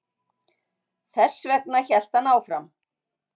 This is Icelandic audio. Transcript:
Þessvegna hélt hann áfram